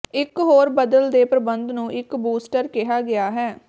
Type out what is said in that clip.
ਇਕ ਹੋਰ ਬਦਲ ਦੇ ਪ੍ਰਬੰਧ ਨੂੰ ਇੱਕ ਬੂਸਟਰ ਕਿਹਾ ਗਿਆ ਹੈ